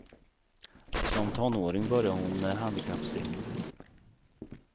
Som tonåring började hon med handikappsimning.